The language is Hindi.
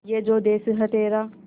ये जो देस है तेरा